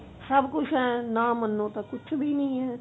ਤਾਂ ਸਭ ਕੁਝ ਹੈ ਨਾ ਮੰਨੋ ਤਾਂ ਕੁਝ ਵੀ ਨਹੀ ਹੈ